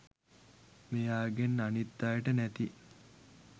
මෙයාගෙන් අනිත් අයට නැති